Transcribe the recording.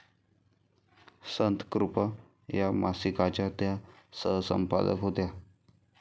संतकृपा' या मासिकाच्या त्या सहसंपादक होत्या.